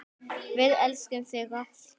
Við elskum þig alltaf.